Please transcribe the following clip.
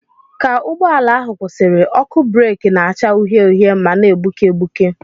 Ka ụgbọ ala ahụ kwụsịrị, ọkụ breeki na-acha uhie uhie ma na-egbuke egbuke.